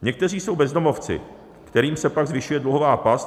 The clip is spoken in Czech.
Někteří jsou bezdomovci, kterým se pak zvyšuje dluhová past.